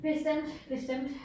Bestemt bestemt